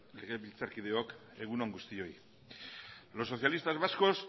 legebiltzarkideok egun on guztioi los socialistas vascos